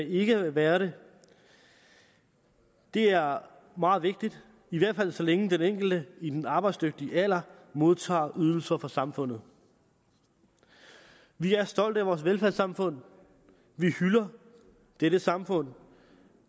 ikke at være det det er meget vigtigt i hvert fald så længe den enkelte i den arbejdsdygtige alder modtager ydelser fra samfundet vi er stolte af vores velfærdssamfund vi hylder dette samfund